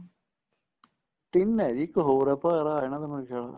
ਤਿੰਨ ਏ ਜੀ ਇੱਕ ਹੋਰ ਏ ਜੀ ਭਰਾ ਏ ਇਹਨਾ ਦਾ ਮੇਰਾ ਖਿਆਲ